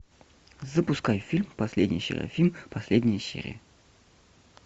запускай фильм последний серафим последняя серия